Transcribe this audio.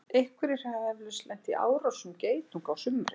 einhverjir hafa eflaust lent í árásum geitunga á sumrin